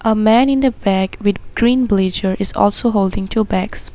A man in the back with green blazer is also holding two bags.